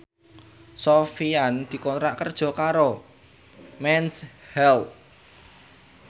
Sofyan dikontrak kerja karo Mens Health